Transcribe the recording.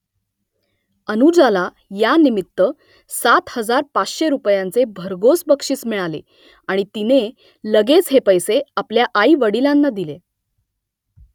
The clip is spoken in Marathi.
अनुजाला यानिमित्त सात हजार पाचशे रुपयांचे भरघोस बक्षीस मिळाले आणि तिने लगेच हे पैसे आपल्या आईवडिलांना दिले